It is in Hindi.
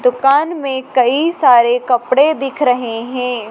दुकान में कई सारे कपड़े दिख रहें हैं।